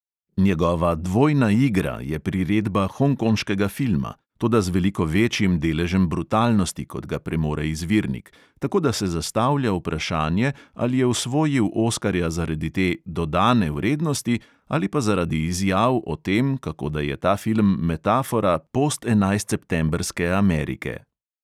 Njegova dvojna igra je priredba hongkonškega filma, toda z veliko večjim deležem brutalnosti, kot ga premore izvirnik, tako da se zastavlja vprašanje, ali je osvojil oskarja zaradi te "dodane vrednosti" ali pa zaradi izjav o tem, kako da je ta film metafora "postenajstseptembrske amerike".